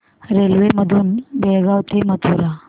railway मधून बेळगाव ते मथुरा